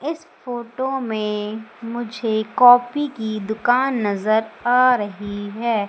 इस फोटो में मुझे कॉफी की दुकान नजर आ रही है।